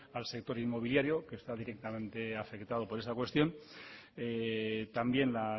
al sector inmobiliario que está directamente afectado por esa cuestión también la